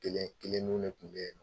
Kelen kelen n'o le tun bɛ yen